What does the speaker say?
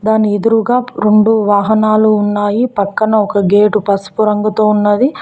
మన ఎదురుగా రెండు వాహనాలు ఉన్నాయి పక్కన ఒక గేటు పసుపు రంగుతో ఉన్నది.